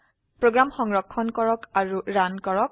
program সংৰক্ষণ আৰু run কৰক